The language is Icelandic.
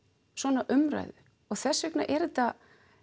svona umræðu og þess vegna er þetta